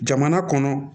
Jamana kɔnɔ